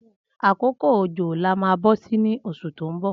Akókó ójó là mà bọsi ni ọṣú tó n bọ